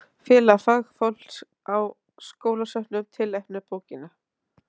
Félag fagfólks á skólasöfnum tilnefnir bókina